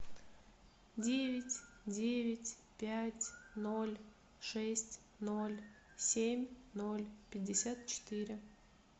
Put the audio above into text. девять девять пять ноль шесть ноль семь ноль пятьдесят четыре